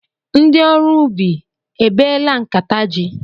Ndị ọrụ ubi ebeela nkata jị?